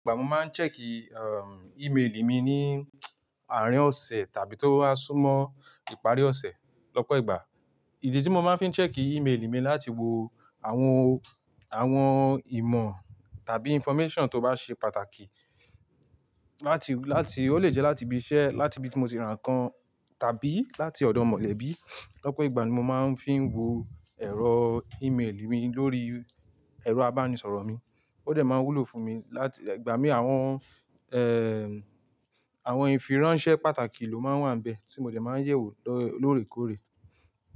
Ìgbà mo máa ń check email mi ní àárín ọ̀sẹ̀ tàbí tó bá súnmọ́ ìparí ọ̀sẹ̀. Lọ́pọ̀ ìgbà, ìdí tí mo máa ń fi check email mi láti wo àwọn, àwọn ìmọ̀ tàbí information tó bá ṣe pàtàkì láti, láti ó lè jẹ́ láti ibi iṣẹ́, láti ibi tí mo ti ra nǹkan tàbí láti ọ̀dọ̀ mọ̀lẹ́bí. Lọ́pọ̀ ìgbà ni mo máa ń fi wo ẹ̀rọ email mi lórí ẹ̀rọ abánisọ̀rọ̀ mi, ó dẹ̀ máa wúlò fún mi láti ìgbà mí àwọn, ẹ́ẹ́, àwọn ìfiránsẹ́ pàtàkì ló máa wà níbẹ̀ tí mo dẹ̀ máa ń yẹ̀ wò lóòrèkóòrè.